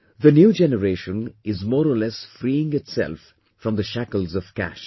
The new generation is more or less freeing itself from the shackles of cash